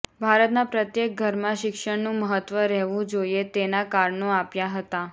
ભારતના પ્રત્યેક ઘરમાં શિક્ષણનું મહત્વ રહેવું જોઈએ તેના કારણો આપ્યા હતા